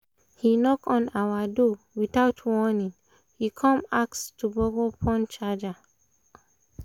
he knock on our door without warning he come ask to borrow phone charger um